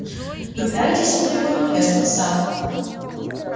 выбирайте себе любое кресло сатт